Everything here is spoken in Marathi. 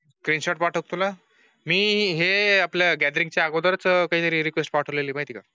फ्रेंच पाठक तुला मी हे आपल्या गॅदरिंग च्या अगोदरच हे रिक्वेस्ट पाठवली आहेत. तीन शॉट तुला मी हे